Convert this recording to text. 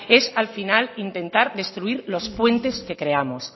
es al final intentar destruir los puentes que creamos